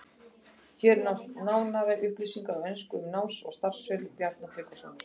Hér eru nánari upplýsingar á ensku um náms- og starfsferil Bjarna Tryggvasonar.